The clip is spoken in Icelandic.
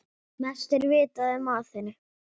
Mest er vitað um Aþenu.